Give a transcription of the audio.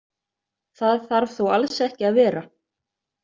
Það þarf þó alls ekki að vera.